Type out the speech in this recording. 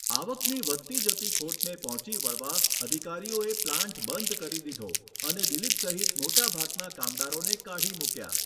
આવકની વધતી જતી ખોટને પહોંચી વળવા અધિકારીઓએ પ્લાન્ટ બંધ કરી દીધો અને દિલીપ સહિત મોટાભાગના કામદારોને કાઢી મૂક્યાં.